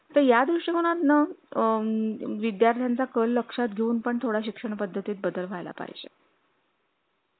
किव्हा तुम्ही तुमचे दात घासणं नख कापून वीकली स्कूल मध्ये चेकिंग होता मन माज्य मुलांचा इथे पण होता पण या गोष्टी नियमित किंवा